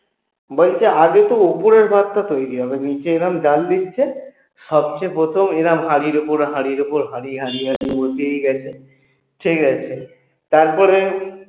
বলছে আগে তো উপরের ভাতটা তৈরি হবে নিচে এরাম জ্বাল দিচ্ছে সবচেয়ে প্রথম এরাম হাড়ির উপরে হাড়ির উপরে হাড়ি হাড়ি হাড়ি দিয়েই গেছে ঠিকাছে তারপরে